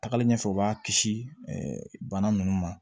Tagali ɲɛfɛ u b'a kisi bana ninnu ma